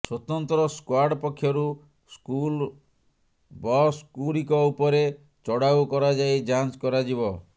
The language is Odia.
ସ୍ୱତନ୍ତ୍ର ସ୍କ୍ବାର୍ଡ ପକ୍ଷରୁ ସ୍କୁଲ ବସ୍ଗୁଡ଼ିକ ଉପରେ ଚଢ଼ାଉ କରାଯାଇ ଯାଞ୍ଚ କରାଯିବ